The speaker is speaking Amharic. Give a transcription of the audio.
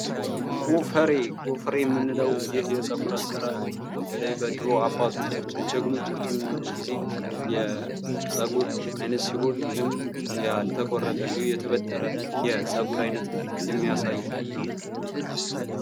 ጎፈሬ ምንለው ይህ የፀጉር አሠራር በተለይ በድሮ አባቶቻችን ጀግኖቻችን ጊዜ የፀጉር ዓይነት ሲሆን ፤ ይህም ያልተቆረጠ እንዲሁ ተጠበረ የፀጉር ዓይነት የሚያሳይ ነው።